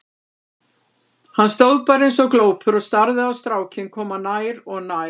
Hann stóð bara eins og glópur og starði á strákinn koma nær og nær.